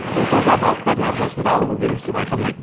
су таза балықтардың ағзасында ауру белгісі байқалмайды